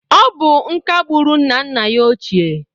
Ọ bụ nka gbụrụ nna nna ya ochie.